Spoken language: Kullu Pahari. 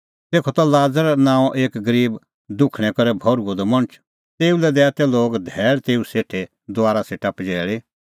तेखअ त लाज़र नांओं एक गरीब दुखणैं करै भर्हुअ द मणछ तेऊ दैआ तै लोग धैल़ तेऊ सेठे दुआरा सेटा पजैल़ी